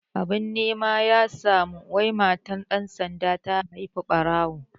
Abin nema ya samu wai matar ɗan sanda ta haihi ɓarawo